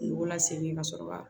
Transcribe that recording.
Nugu lasegin ka sɔrɔ ka